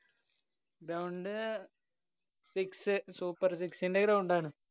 ground six super six ന്റെ ground ആണ്.